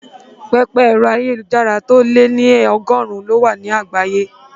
Pẹpẹ ẹ̀rọ ayélujára tó lé ní ọgọ́rùn-ún ló wà ní àgbáyé